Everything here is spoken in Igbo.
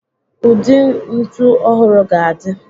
Ụdị ntu ọhụrụ ga-adị.